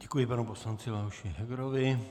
Děkuji panu poslanci Leoši Hegerovi.